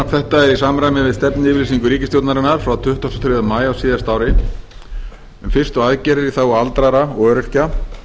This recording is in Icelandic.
þetta er í samræmi við stefnuyfirlýsingu ríkisstjórnarinnar frá tuttugasta og þriðja maí á síðasta ári um fyrstu aðgerðir í þágu aldraðra og öryrkja